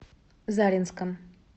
заринском